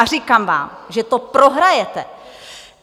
A říkám vám, že to prohrajete.